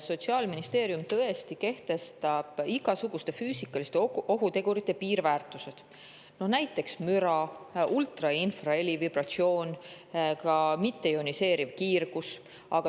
Sotsiaalministeerium tõesti kehtestab igasuguste füüsikaliste ohutegurite piirväärtused, näiteks müra, ultra- ja infraheli, vibratsioon, ka mitteioniseeriv kiirgus.